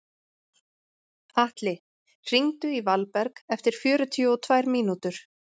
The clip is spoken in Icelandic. Atli, hringdu í Valberg eftir fjörutíu og tvær mínútur.